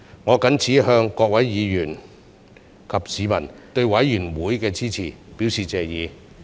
我謹此向各位議員及市民對委員會的支持，表示謝意。